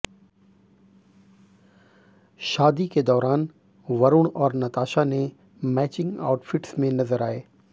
शादी के दौरान वरुण और नताशा ने मैचिंग आउटफिट्स में नजर आए